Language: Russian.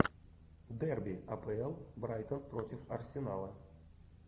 дерби апл брайтон против арсенала